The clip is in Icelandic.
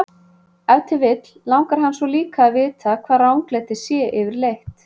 Ef til vill langar hann svo líka að vita hvað ranglæti sé yfirleitt.